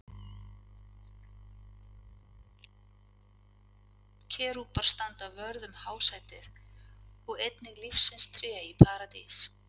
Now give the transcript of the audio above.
Kerúbar standa vörð um hásætið og einnig lífsins tré í Paradís.